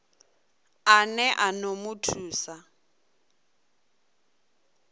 ane a ḓo mu thusa